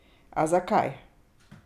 A zakaj?